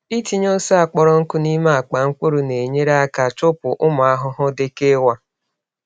Ịtinye ose a kpọrọ nkụ n’ime akpa mkpụrụ na-enyere aka chụpụ ụmụ ahụhụ dịka ịwa.